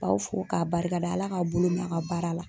K'aw fo k'a' barikada Ala k'aw bolo mɛ a' ka baara la.